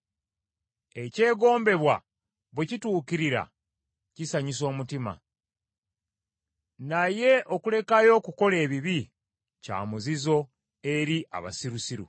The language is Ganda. Ekyegombebwa bwe kituukirira kisanyusa omutima, naye okulekayo okukola ebibi kya muzizo eri abasirusiru.